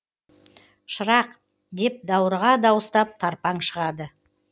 шырақ деп даурыға дауыстап тарпаң шығады